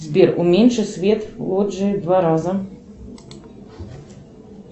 сбер уменьши свет в лоджии в два раза